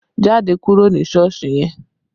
Jáde kúrò ní Sọ́ọ̀sì yẹn!